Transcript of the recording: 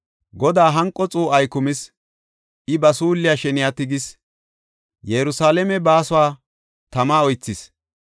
Godaa hanqo xuu7ay kumis; I ba suulliya sheniya tigis. Yerusalaame baasuwa tama oythis.